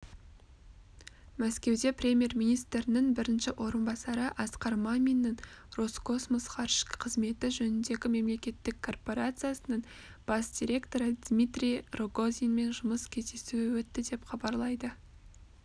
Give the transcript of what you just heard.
мәскеуде премьер-министрінің бірінші орынбасары асқар маминнің роскосмос ғарыш қызметі жөніндегі мемлекеттік корпорациясының бас директоры дмитрий рогозинмен жұмыс кездесуі өтті деп хабарлайды